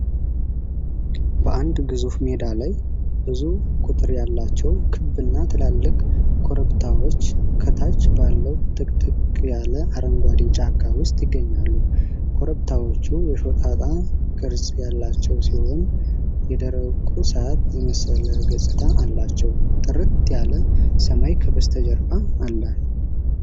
በአንድ ግዙፍ ሜዳ ላይ፣ ብዙ ቁጥር ያላቸው ክብና ትላልቅ ኮረብታዎች ከታች ባለው ጥቅጥቅ ያለ አረንጓዴ ጫካ ውስጥ ይገኛሉ። ኮረብታዎቹ የሾጣጣ ቅርጽ ያላቸው ሲሆን፣ የደረቁ ሣር የመሰለ ገጽታ አላቸው። ጥርት ያለ ሰማይ ከበስተጀርባ አለ።